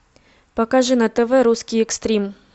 покажи на тв русский экстрим